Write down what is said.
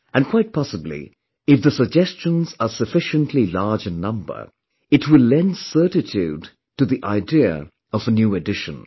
And quite possibly, if the suggestions are sufficiently large in number, it will lend certitude to the idea of a new edition